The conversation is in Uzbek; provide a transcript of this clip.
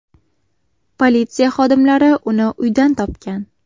Politsiya xodimlari uni uydan topgan.